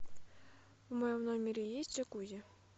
в моем номере есть джакузи